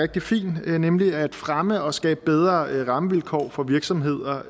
rigtig fin nemlig at fremme og skabe bedre rammevilkår for virksomheder